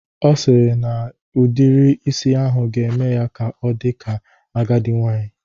Ọ sịrị ya n'udiri isi ahụ ga eme ya ka ọ dị ka agadi nwaanyị